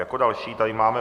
Jako další tady máme